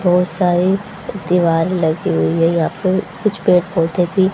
बहोत सारे दीवार लगी हुए हैं यहां पे कुछ पेड़ पौधे भी--